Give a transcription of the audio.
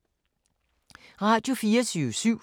Radio24syv